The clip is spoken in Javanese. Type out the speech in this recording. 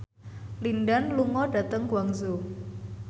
Lin Dan lunga dhateng Guangzhou